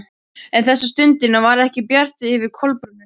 En þessa stundina var ekki bjart yfir Kolbrúnu.